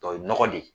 O ye nɔgɔ de ye